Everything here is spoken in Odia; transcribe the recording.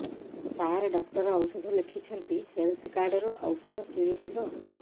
ସାର ଡକ୍ଟର ଔଷଧ ଲେଖିଛନ୍ତି ହେଲ୍ଥ କାର୍ଡ ରୁ ଔଷଧ କିଣି ହେବ